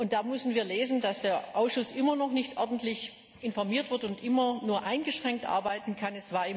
Dort müssen wir lesen, dass der Ausschuss immer noch nicht ordentlich informiert wurde und immer nur eingeschränkt arbeiten kann.